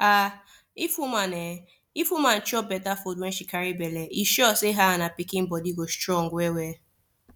ahh if woman ahh if woman chop better food wen she carry belle e sure say her and her pikin body go strong well well